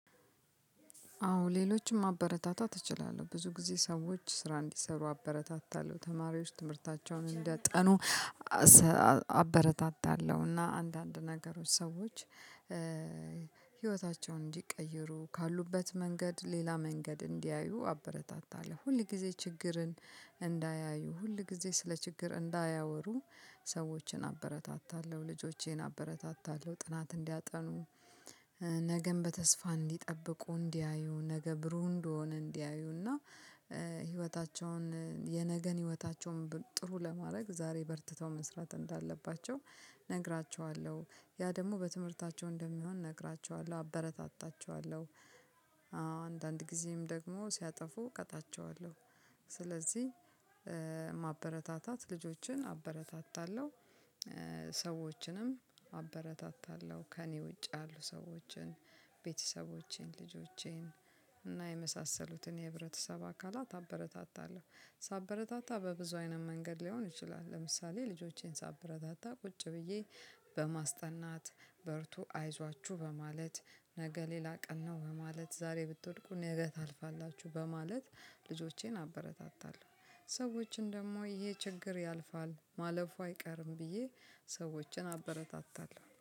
አዎ ሌሎችም ማበረታታት እችላለሁ ብዙ ጊዜ ሰዎች ስራ እንዲሰሩ አበረታታለሁ ተማሪዎች ትምህርታቸውን እንዲያጠኑ አበረታታለሁ እና አንዳንድ ነገሮች ሰዎች ህይወታቸውን እንዲቀይሩ ካሉበት መንገድ ሌላ መንገድ እንዲያዩ አበረታታለሁ። ሁል ጊዜ ችግርን እንዳያዩ ሁል ጊዜ ስለ ችግር እንዳያወሩ ሰዎችን አበረታታለሁ። ልጆቼን አበረታታለሁ ጥናት እንዲያጠኑ ነገም በተስፋ እንዲጠብቁ እንዲያዩ ነገ ብሩህ እንደሆነ እንዲያዩ እና ህይወታቸውን የነገን ህይወታቸውን ጥሩ ለማድረግ ዛሬ በርትተው መስራት እንዳለባቸው ነግራቸዋለሁ። ያ ደግሞ በትምህርታቸው እንደሚሆን እነግራቸዋለሁ አበረታታቸዋለሁ። አወ አንዳንድ ጊዜም ደግሞ ሲያጠፉ እቀጣቸዋለሁ። ስለዚህ ማበረታታት ልጆችን አበረታታለሁ። ሰዎችንም አበረታታለሁ ከእኔ ውጭ ያሉ ሰዎችን ቤተሰቦቼን ልጆቼን እና የመሳሰሉትን የህብረተሰብ አካላት አበረታታለሁ። ሳበረታታ በብዙ አይነት መንገድ ሊሆን ይችላል። ለምሳሌ ልጆቼን ሳበረታታ ቁጭ ብዬ በማስጠናት በርቱ አይዟችሁ በማለት ነገ ሌላ ቀን ነው በማለት ዛሬ ብትወድቁ ነገ ታልፋላችሁ በማለት ልጆቼን አበረታታለሁ። ሰዎችን ደግሞ ይሄ ችግር ያልፋል ማለፉ አይቀርም ብዬ ሰዎችን አበረታታለሁ